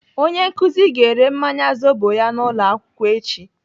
Onye nkụzi ga-ere mmanya zobo ya n'ụlọakwụkwọ echi.